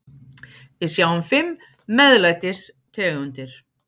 Við sjáum fimm MEÐLÆTIS tegundir.